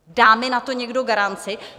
Dá mi na to někdo garanci?